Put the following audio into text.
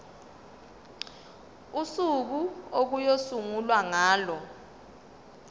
usuku okuyosungulwa ngalo